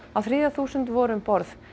á þriðja þúsund voru um borð